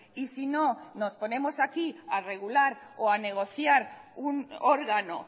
y si no nos ponemos aquí a regular o a negociar un órgano